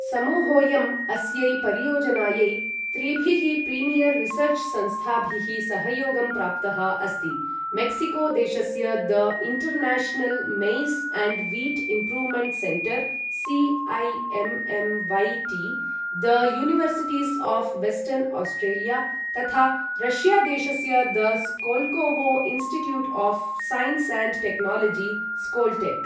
समूहोयं अस्यै परियोजनायै त्रिभिः प्रीमियर् रिसर्च् संस्थाभिः सहयोगं प्राप्तः अस्ति मेक्सिको देशस्य the international maize and wheat improvement centre CIMMYT, the universities of western Australia , तथा रष्या देशस्य the Skolkovo institute of science and technology Skoltech.